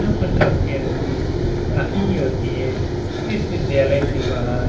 यहाँ पर काफ़ी अच्छी पढ़ाई होती है इस विद्यालय के बाहर--